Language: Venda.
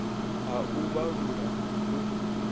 ha u vhalula na u